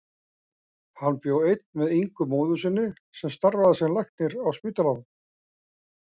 Hann bjó einn með Ingu móður sinni sem starfaði sem læknir á spítalanum.